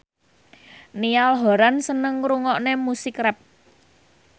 Niall Horran seneng ngrungokne musik rap